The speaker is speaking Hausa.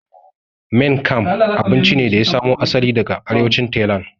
Maing kam abinci ne da ya samo asali daga arewacin Tailand